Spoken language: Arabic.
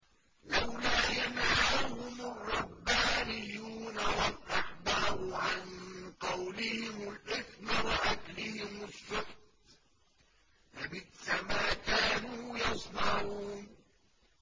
لَوْلَا يَنْهَاهُمُ الرَّبَّانِيُّونَ وَالْأَحْبَارُ عَن قَوْلِهِمُ الْإِثْمَ وَأَكْلِهِمُ السُّحْتَ ۚ لَبِئْسَ مَا كَانُوا يَصْنَعُونَ